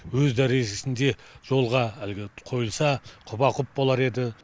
өз дәрежесінде жолға әлгі қойылса құба құп болар еді